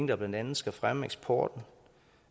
der blandt andet skal fremme eksporten og